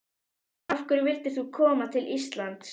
Jóhann: Af hverju vildir þú koma til Íslands?